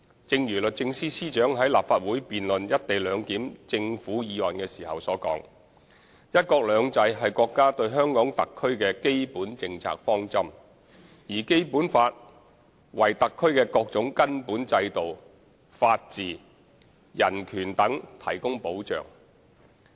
正如律政司司長於立法會辯論"一地兩檢"政府議案時所言，"一國兩制"是國家對香港特區的基本政策方針，而《基本法》為特區的各種根本制度、法治、人權等提供保障。